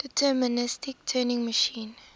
deterministic turing machine